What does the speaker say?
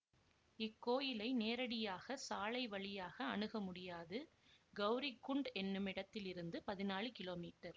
இக்கோயிலை நேரடியாக சாலை வழியாக அணுக முடியாது கௌரிகுண்ட் என்னுமிடத்திலிருந்து பதினாலு கிலோ மீட்டர்